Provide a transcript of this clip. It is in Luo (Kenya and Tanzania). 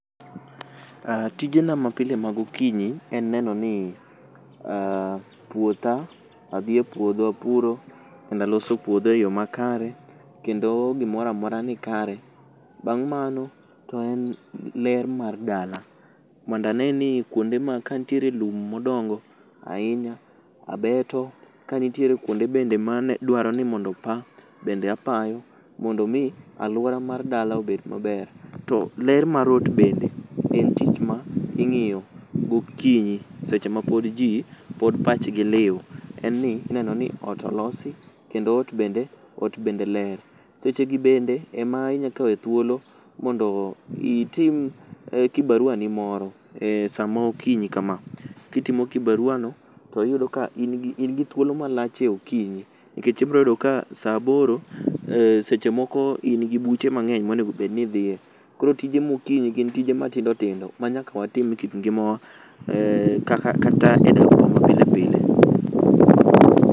Ah, tijena mapile magokinyi en neno ni puotha, adhi e puodho apuro kendo aloso puodho e yo makare. Kendo gimoramora ni kare, bang' mano to en ler mar dala mondo ane ni kuonde ma kantiere lum modongo ahinya abeto. Kanitiere kuonde bende ma dwaro ni mondo opa, bende apayo, mondo mi alwora mar dala obed maber. To ler mar ot bende, en tich ma ing'iyo gokinyi seche ma pod ji pod pachgi liw. En ni ineno ni ot olosi kendo ot bende, ot bende ler. Sechegi bende ema inyakawe thuolo mondo itim kibarua ni moro e samaokinyi kama. Kitimo kibarua no, to iyudo kain gi thuolo malach e okinyi. Nikech ibroyudo ka sa aboro seche moko in gi buche mang'eny monegobed ni idhiye. Koro tije mokinyi gin tije matindotindo ma nyaka watim e kit ngimawa kata e dakwa ma pilepile.